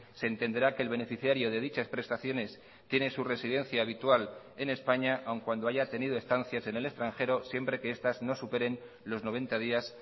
se entenderá que el beneficiario de dichas prestaciones tiene su residencia habitual en españa aun cuando haya tenido estancias en el extranjero siempre que estas no superen los noventa días